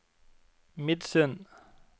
Midsund